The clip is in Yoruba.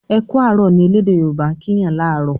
"Eku arọ" ní ẹlẹdẹ yoruba' kín Yàn laarọ